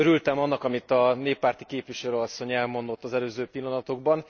Örültem annak, amit a néppárti képviselőasszony elmondott az előző pillanatokban.